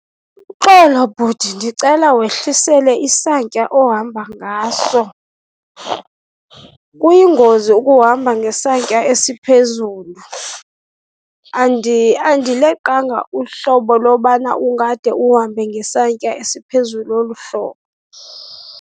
Uxolo bhuti, ndicela wehlisele isantya ohamba ngaso. Kuyingozi ukuhamba ngesantya esiphezulu, andileqanga uhlobo lobana ungade uhambe ngesantya esiphezulu olu hlobo.